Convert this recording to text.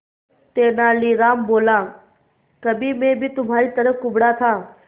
तेनालीराम बोला कभी मैं भी तुम्हारी तरह कुबड़ा था